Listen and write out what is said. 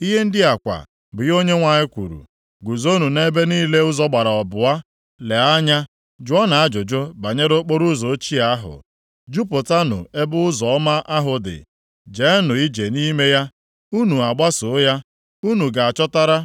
Ihe ndị a kwa bụ ihe Onyenwe anyị kwuru, “Guzonụ nʼebe niile ụzọ gbara abụọ. Lee anya. Jụọnụ ajụjụ banyere okporoụzọ ochie ahụ. Jụpụtanụ ebe ụzọ ọma ahụ dị, jeenụ ije nʼime ya. Unu gbaso ya, unu ga-achọtara